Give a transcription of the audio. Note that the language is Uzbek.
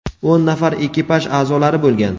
o‘n nafar ekipaj a’zolari bo‘lgan.